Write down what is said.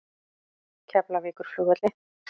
Keflavíkurflugvelli